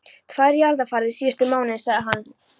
Tvær jarðarfarir síðustu mánuði, sagði hann.